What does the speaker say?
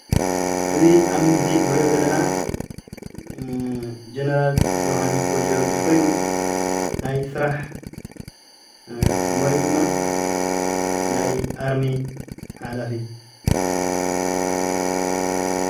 እዚ ኣብ ምስሊ እንሪኦ ዘለና ጀነራል ዮውሃንስ ወ/የወርግስ ኮይኑ ናይ ሰራሕ ሞይኡ ድማ ናይ ኣርሚ ሓላፊ